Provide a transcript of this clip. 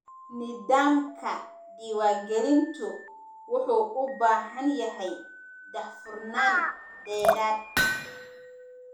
Nidaamka diiwaangelintu wuxuu u baahan yahay daahfurnaan dheeraad ah.